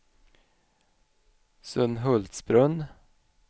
Sunhultsbrunn